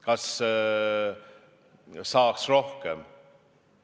Kas saaks rohkem?